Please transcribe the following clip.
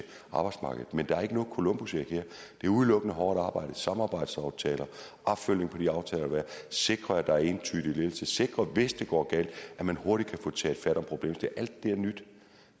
arbejdsmarkedet men der er ikke noget columbusæg her det er udelukkende hårdt arbejde samarbejdsaftaler opfølgning på de aftaler der er sikring af entydig ledelse sikring af hvis det går galt at man hurtigt kan få taget fat om problemet alt det er nyt